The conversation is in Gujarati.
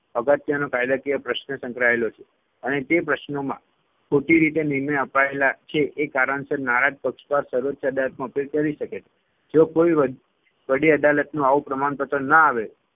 અગત્યનો કાયદાકીય પ્રશ્ન સંકળાયેલો છે અને તે પ્રશ્નમાં ખોટી રીતે નિર્ણય અપાયેલા છે એ કારણસર નારાજ પક્ષકાર સર્વોચ્ય અદાલતમાં appeal કરી શકે છે. જો કોઈ વડી વડી અદાલતનું આવું પ્રમાણપત્ર ન આવે